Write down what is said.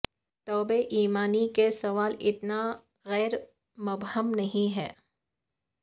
تو بے ایمانی کے سوال اتنا غیر مبہم نہیں ہے